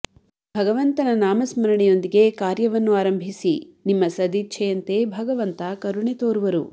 ಭಗವಂತನ ನಾಮಸ್ಮರಣೆಯೊಂದಿಗೆ ಕಾರ್ಯವನ್ನು ಆರಂಭಿಸಿ ನಿಮ್ಮ ಸದೀಚ್ಛೆಯಂತೆ ಭಗವಂತ ಕರುಣೆ ತೋರುವರು